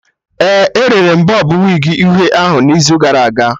Ee, ere m bọb wigi uhie ahụ n'izu gara aga